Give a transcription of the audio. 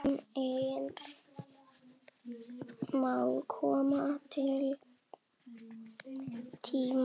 Heimir Már: Kominn tími til?